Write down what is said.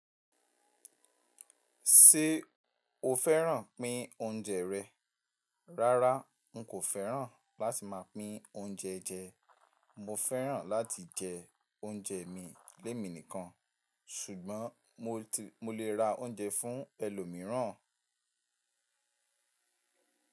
Ṣé o fẹ́ràn pín oúnjẹ rẹ? Rárá, n kò fẹ́ràn láti máa pín oúnjẹ jẹ. Mo fẹ́ràn láti jẹ oúnjẹ mi lé mi nìkan. Ṣùgbọ́n mo lè ra oúnjẹ fún ẹlòmíràn.